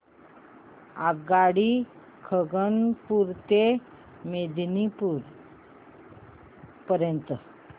आगगाडी खरगपुर ते मेदिनीपुर पर्यंत